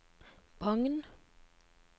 Bagn